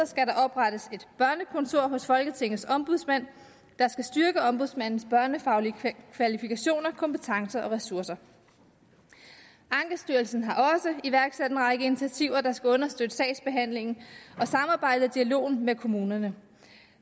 skal der oprettes et børnekontor hos folketingets ombudsmand der skal styrke ombudsmandens børnefaglige kvalifikationer kompetencer og ressourcer ankestyrelsen har også iværksat en række initiativer der skal understøtte sagsbehandlingen og samarbejdet og dialogen med kommunerne